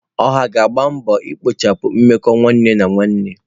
Oha ga-agba mbọ ikpochapụ mmekọ nwanne na nwanne.